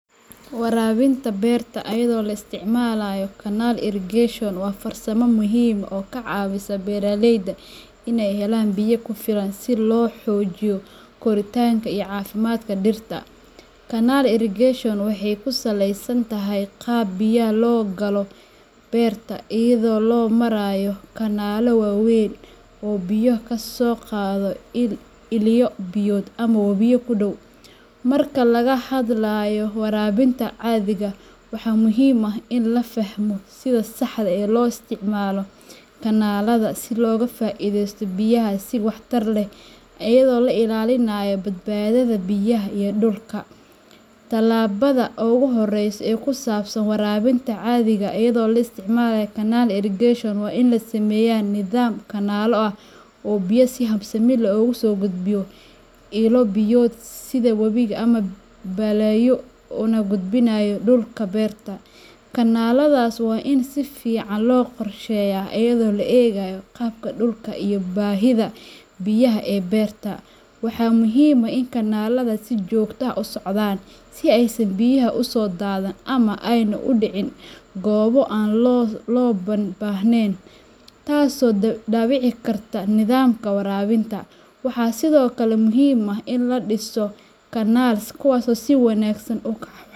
Waraabinta berta iyadoo la isticmaalayo canal irrigation waa farsamo muhiim ah oo ka caawisa beeraleyda inay helaan biyo ku filan si loo xoojiyo koritaanka iyo caafimaadka dhirta. Canal irrigation waxay ku saleysan tahay qaab biyaha loo galo beerta iyada oo loo marayo kanaallo waaweyn oo biyo ka soo qaada ilo biyood ama wabiyo ku dhow. Marka laga hadlayo waraabinta adhiga, waxaa muhiim ah in la fahmo sida saxda ah ee loo isticmaalo kanaallada si looga faa’ideysto biyaha si waxtar leh, iyada oo la ilaalinayo badbaadada biyaha iyo dhulka. Tallaabada ugu horreysa ee ku saabsan waraabinta adhiga iyadoo la isticmaalayo canal irrigation waa in la sameeyo nidaam kanaallo ah oo biyaha si habsami leh uga soo gudbinaya ilo biyood sida webi ama balliyo una gudbinaya dhulka beerta. Kanaalladaas waa in si fiican loo qorsheeyo, iyadoo loo eegayo qaabka dhulka iyo baahida biyaha ee beerta. Waxaa muhiim ah in kanaallada ay si joogto ah u socdaan, si aysan biyuhu u soo daadan ama aanay u dhicin goobo aan loo baahnayn, taasoo dhaawici karta nidaamka waraabinta. Waxaa sidoo kale muhiim ah in la dhiso canals kuwaas oo si wanaagsan.